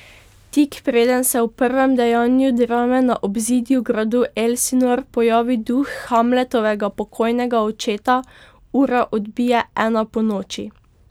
Tik preden se v prvem dejanju drame na obzidju gradu Elsinor pojavi duh Hamletovega pokojnega očeta, ura odbije ena ponoči.